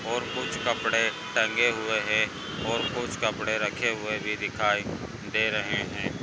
और कुछ कपड़े टंगे हुए हैं और कुछ कपड़े रखे हुए भी दिखाई दे रहे हैं।